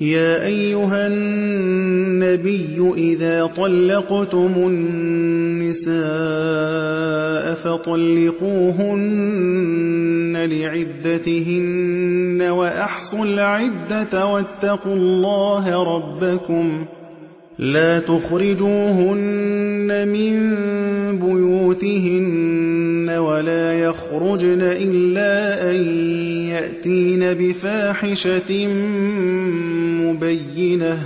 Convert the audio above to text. يَا أَيُّهَا النَّبِيُّ إِذَا طَلَّقْتُمُ النِّسَاءَ فَطَلِّقُوهُنَّ لِعِدَّتِهِنَّ وَأَحْصُوا الْعِدَّةَ ۖ وَاتَّقُوا اللَّهَ رَبَّكُمْ ۖ لَا تُخْرِجُوهُنَّ مِن بُيُوتِهِنَّ وَلَا يَخْرُجْنَ إِلَّا أَن يَأْتِينَ بِفَاحِشَةٍ مُّبَيِّنَةٍ ۚ